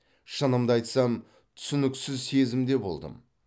шынымды айтсам түсініксіз сезімде болдым